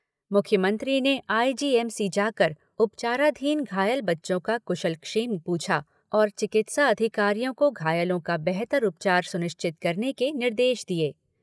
मुख्यमंत्री ने आईजीएमसी जाकर उपचाराधीन घायल बच्चों का कुशलक्षेम पूछा और चिकित्सा अधिकारियों को घायलों का बेहतर उपचार सुनिश्चित करने के निर्देश दिए।